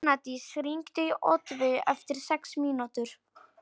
Mánadís, hringdu í Oddveigu eftir sex mínútur.